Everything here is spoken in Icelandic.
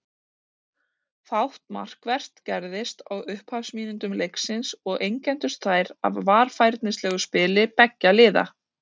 Fátt markvert gerðist á upphafsmínútum leiksins og einkenndust þær af varfærnislegu spili beggja liða.